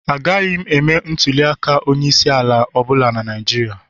Agaghị m eme ntuli aka onye isi ala ọ bụla na Naijiria